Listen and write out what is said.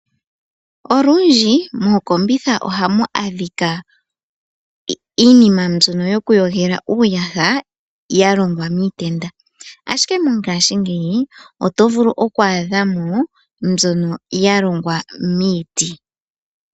Olundbi mookombitha ohamu adhika iinima mbyono yokuyogela uuyaha, ya longwa miitenda. Ashike mongashingeyi oto vulu oku adha mo mbyono ya longwa miiti.